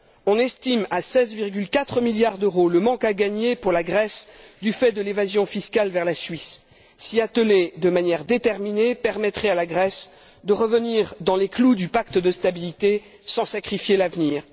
On estime à 16,4 milliards d'euros le manque à gagner pour la Grèce, du fait de l'évasion fiscale vers la Suisse. S'y atteler de manière déterminée permettrait à la Grèce de revenir dans les clous du pacte de stabilité sans sacrifier l'avenir.